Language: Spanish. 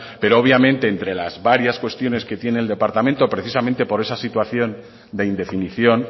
pero obviamente entre las varias cuestiones que tiene el departamento precisamente por esa situación de indefinición